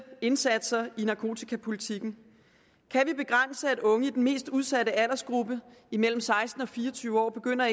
indsatser i narkotikapolitikken kan vi begrænse at unge i den mest udsatte aldersgruppe mellem seksten og fire og tyve år begynder